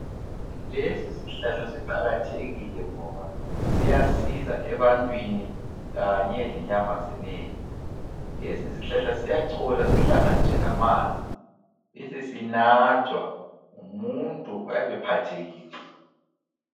Lesisihlahla siqakathekile ngoba siyasiza ebantwini kanye lenyamazaneni. Lesisihlahla siyacholwa sihlanganiswe lamanzi besesinathwa ngumuntu oyabe ephathekile.